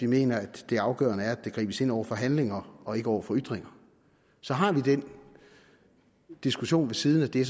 mener at det afgørende er at der gribes ind over for handlinger og ikke over for ytringer så har vi den diskussion ved siden af det